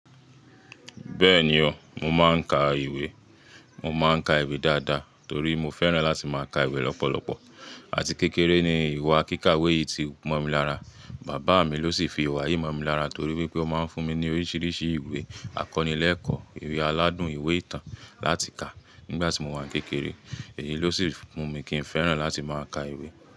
Bẹ́ẹ̀ni o, mo máa ń ka ìwé. Mo máa ń ka ìwé dáadáa torí mo fẹ́ràn láti máa ka ìwé lọ́pọ̀lọpọ̀. Àti kékeré ni ìwà kíkàwé yìí ti mọ̀ mi lára. Bàbá mi ló sì fi ìwà yìí mọ̀ mi lára torí pé ó máa ń fún mi ní oríṣiríṣi ìwé àkọnílẹ́ẹ̀kọ́, ìwé aládùn, ìwé ìtàn láti ka nígbà tí mo wà ní kékeré. Èyí ló sì fún mi kí n fẹ́ràn láti máa ka ìwé.